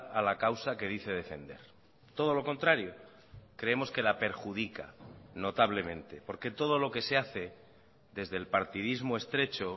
a la causa que dice defender todo lo contrario creemos que la perjudica notablemente porque todo lo que se hace desde el partidismo estrecho